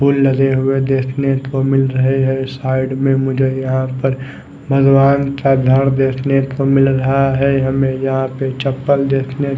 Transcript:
फूल लगे हुए देखने को मिल रहे है साईड में मुझे यहाँ पर भगवान का घर देखने को मिल रहा है हमे यहाँ पे चप्पल देखने--